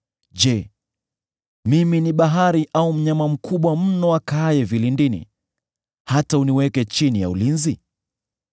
Je, mimi ni bahari, au mnyama mkubwa mno akaaye vilindini, hata uniweke chini ya ulinzi?